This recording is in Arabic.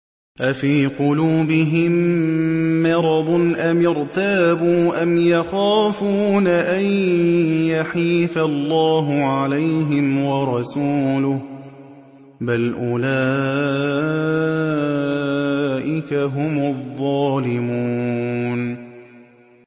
أَفِي قُلُوبِهِم مَّرَضٌ أَمِ ارْتَابُوا أَمْ يَخَافُونَ أَن يَحِيفَ اللَّهُ عَلَيْهِمْ وَرَسُولُهُ ۚ بَلْ أُولَٰئِكَ هُمُ الظَّالِمُونَ